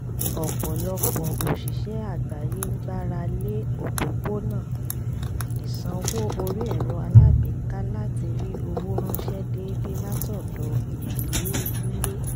ọ̀pọ̀lọpọ̀ òṣìṣẹ́ àgbáyé gbára lé òpópónà ìsanwó orí ẹ̀rọ alágbèéká láti rí owó ránṣẹ́ déédéé látọ̀dọ̀ ìdílé nílé